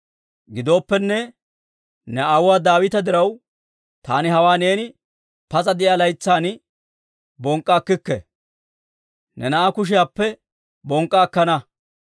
Gidooppenne, ne aawuwaa Daawita diraw taani hawaa neeni pas'a de'iyaa laytsan bonk'k'a akkikke; ne na'aa kushiyaappe bonk'k'a akkana.